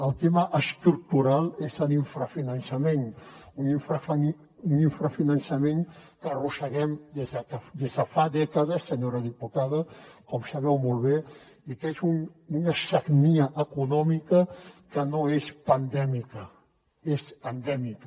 el tema estructural és l’infrafinançament un infrafinançament que arrosseguem des de fa dècades senyora diputada com sabeu molt bé i que és una sagnia econòmica que no és pandèmica és endèmica